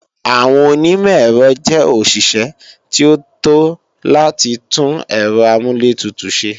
Àwọn onímọ̀-èrọ jẹ́ òṣìṣẹ́ tí ó tó láti tún Ẹ̀rọ amúlẹ̀tutù ṣe